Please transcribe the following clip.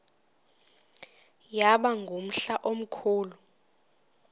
yaba ngumhla omkhulu